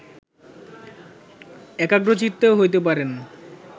একাগ্রচিত্ত হইতে পারে না